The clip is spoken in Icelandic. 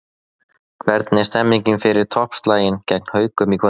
Hvernig er stemningin fyrir toppslaginn gegn Haukum í kvöld?